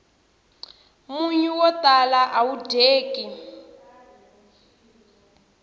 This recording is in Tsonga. munyu wo tala awu dyeki